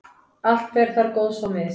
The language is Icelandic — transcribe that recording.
allt fer þar góðs á mis.